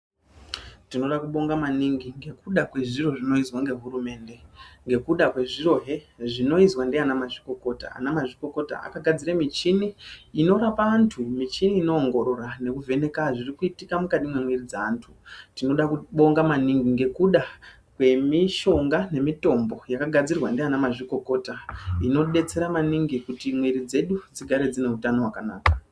Tinoda kubonga maningi ngekuda kwezviro zvinoizwa ngehurumende, ngekuda kwezvirohe zvinoizwa ndiana mazvikokota. Anamazvikokota akagadzire michini inorapa antu, michini inoongorora nekuvheneka zviri kuitika mukati memwiiri dzaantu. Tinoda kubonga maningi ngekuda kwemishonga nemitombo yakagadzirwa ndiana mazvikokota inobetsera maningi kuti mwiiri dzedu dzigare dzine utano hwakanaka.